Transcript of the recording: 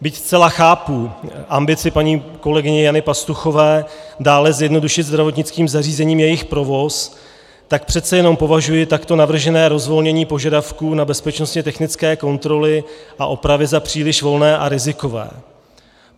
Byť zcela chápu ambici paní kolegyně Jany Pastuchové dále zjednodušit zdravotnickým zařízením jejich provoz, tak přece jenom považuji takto navržené rozvolnění požadavků na bezpečnostně technické kontroly a opravy za příliš volné a rizikové.